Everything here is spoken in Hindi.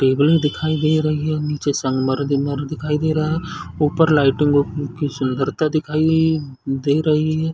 टेबल्स दिखाई दे रही है नीचे संगमर दिखाई दे रहा है ऊपर लाइटिंग उटिंग की सुंदरता दिखाई दे रही है।